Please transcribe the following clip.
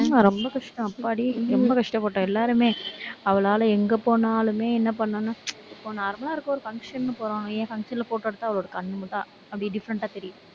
ஆமா ரொம்ப கஷ்டம் அப்பாடி ரொம்ப கஷ்டப்பட்டோம் எல்லாருமே. அவளால, எங்க போனாலுமே, என்ன பண்ணாலும், இப்ப normal லா இருக்கோம் ஒரு function ன்னு போறோம். ஏன் function ல photo எடுத்தா அவளோட கண்ணு மட்டும் அப்படியே different ஆ தெரியுது.